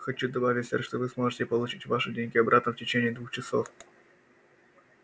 хочу добавить сэр что вы сможете получить ваши деньги обратно в течение двух часов